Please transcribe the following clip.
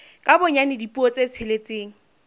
ka bonyane dipuo tse tsheletseng